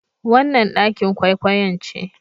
Wannan ɗakin kwaikwayon ce.